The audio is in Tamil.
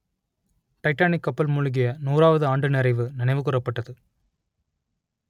டைட்டானிக் கப்பல் மூழ்கிய நூறாவது ஆண்டு நிறைவு நினைவு கூரப்பட்டது